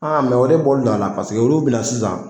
A o de bɔlen don a la olu bɛ na sisan